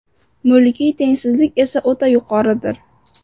Mulkiy tengsizlik esa o‘ta yuqoridir.